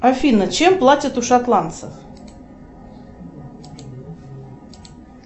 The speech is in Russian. афина чем платят у шотландцев